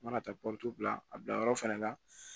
U mana taa bila a bila yɔrɔ fɛnɛ la